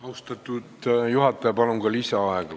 Austatud juhataja, palun kohe ka lisaaega!